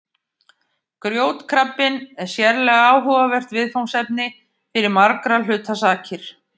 Grjótkrabbinn er sérlega áhugavert viðfangsefni fyrir margra hluta sakir.